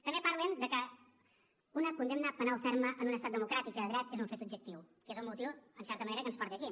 també parlen de que una condemna penal ferma en un estat democràtic i de dret és un fet objectiu que és el motiu en certa manera que ens porta aquí